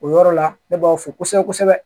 O yɔrɔ la ne b'aw fo kosɛbɛ kosɛbɛ